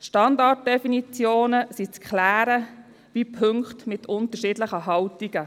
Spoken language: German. Bei Punkten mit unterschiedlichen Haltungen sind Standarddefinitionen zu klären.